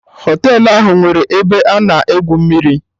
Họtelụ ahụ enwere ebe a na-egwu mmiri?